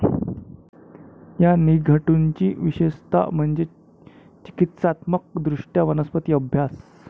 या निघंटुची विशेषतः म्हणजे चिकित्सात्मक दृष्ट्या वनस्पती अभ्यास.